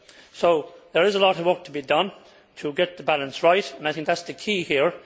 So there is a lot of work to be done to get the balance right and I think that is the key here.